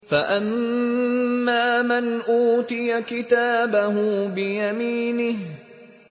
فَأَمَّا مَنْ أُوتِيَ كِتَابَهُ بِيَمِينِهِ